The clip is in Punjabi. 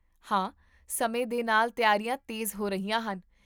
ਹਾਂ, ਸਮੇਂ ਦੇ ਨਾਲ ਤਿਆਰੀਆਂ ਤੇਜ਼ ਹੋ ਰਹੀਆਂ ਹਨ